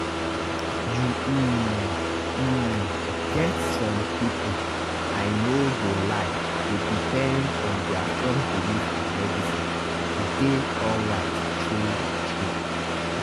you um um get some people i no go lie dey depend on their strong belief and medicine to dey alright true-true